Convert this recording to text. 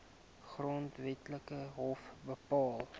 grondwetlike hof bepaal